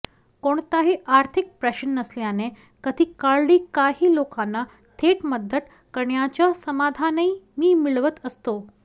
कोणताही आर्थिक प्रश्न नसल्याने कधी काळी काही लोकांना थेट मदत करण्याचं समाधानही मी मिळवत असतो